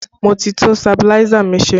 Mo ti tún sabiláísà mi ṣe